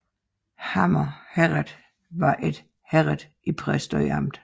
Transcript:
Hammer Herred var et herred i Præstø Amt